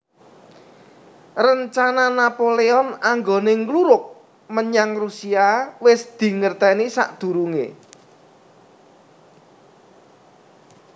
Rencana Napoleon anggoné ngluruk menyang Rusia wis dingertèni sakdurungé